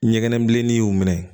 Ɲɛgɛn bilennin y'u minɛ